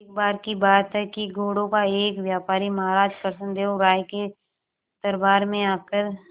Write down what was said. एक बार की बात है कि घोड़ों का एक व्यापारी महाराज कृष्णदेव राय के दरबार में आकर